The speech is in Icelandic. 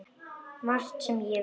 Margt sem ég veit.